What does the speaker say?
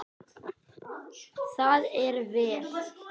Það er vel.